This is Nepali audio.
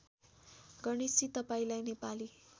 गणेशजी तपाईँंलाई नेपाली